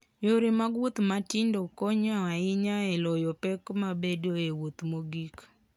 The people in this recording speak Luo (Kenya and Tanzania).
Yore mag wuoth matindo konyo ahinya e loyo pek mabedoe e wuoth mogik.